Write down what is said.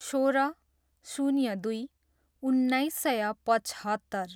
सोह्र, शून्य दुई, उन्नाइस सय पचहत्तर